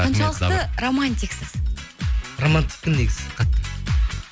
қаншалықты романтиксіз романтикпін негізі қатты